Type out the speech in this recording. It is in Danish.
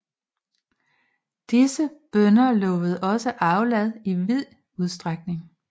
Disse bønner lovede også aflad i vid udstrækning